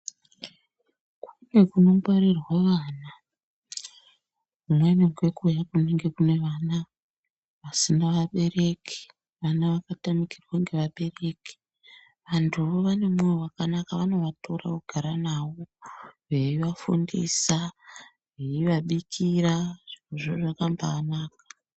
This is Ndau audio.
Kune kunongwarirwa vana kumweni ngekuya kunenge kune vana vasina abereki. Vana vakatamikirwa ngevabereki vantuvo vanemoyo vakanaka vanovatora vogara navo. Veivafundisa veivabikira zvirozvo zvakambanaka.